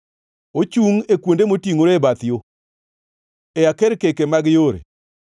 Ochungʼ e kuonde motingʼore e bath yo, e akerkeke mag yore.